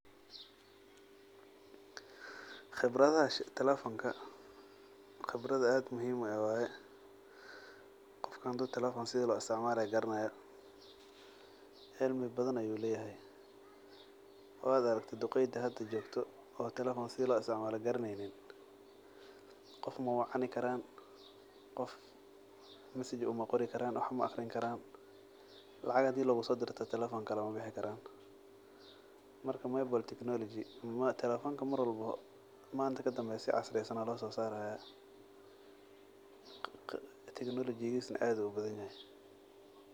Qibradaha telefonka qibrad aad muhiim eh waye qofka telefonka sida lisotcmalo garanayo qibrad aah u muhiim eh ayu leyahay wad aragte duqeyda hda jogto oo teflefon sida loo isitcmalo garaneynin qof mawacani karan masaj maaqrini karan wax maaqrini karan lacag hadi logusotiro kalamabixi karan marka telefon manta sii casri aya lososaraya teknolojigisa aad ayu ubadan yahay.